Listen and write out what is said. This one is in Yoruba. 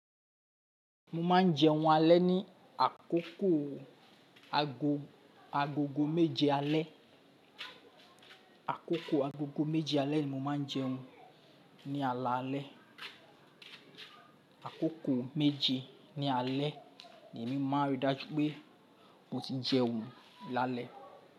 Mo máa ń jẹun alẹ́ ní àkókò agogo méje alẹ́. Àkókò agogo méje alẹ́ ni mo máa ń jẹun ní alaalẹ́. Àkókò méje ní alẹ́ ni èmi máa n rí dájú pé mo ti jẹun lálẹ́.